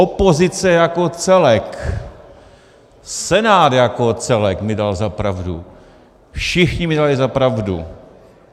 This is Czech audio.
Opozice jako celek, Senát jako celek, mi dali za pravdu, všichni mi dali za pravdu.